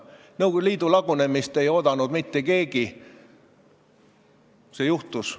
Nõukogude Liidu lagunemist ei oodanud mitte keegi, kuid see juhtus.